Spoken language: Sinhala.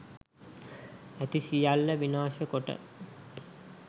ඇති සියල්ල විනාශ කොට